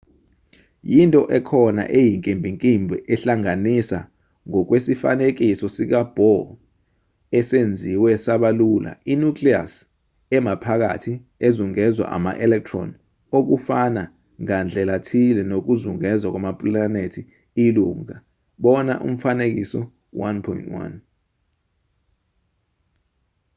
yinto ekhona eyinkimbinkimbi ehlanganisa ngokwesifanekiso sikabohr esenziwe saba lula i-nucleus emaphakathi ezungezwa ama-electron okufana ngandlelathile nokuzungeza kwamapulanethi ilunga bona umfanekiso 1.1